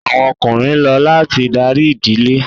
Awọn Ọkùnrin ló láti darí ìdílé